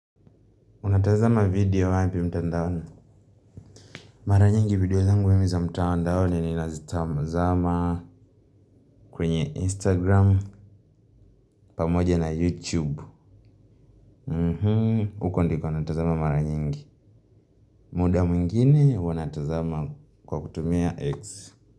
Unatazama video wapi mtandaoni? Mara nyingi video zangu mimi za mtandaoni ninazitazama kwenye Instagram pamoja na YouTube. Huko ndiko natazama mara nyingi. Muda mwingine huwa natazama kwa kutumia X.